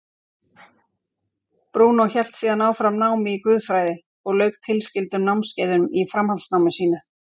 Brúnó hélt síðan áfram námi í guðfræði og lauk tilskildum námskeiðum í framhaldsnámi sínu.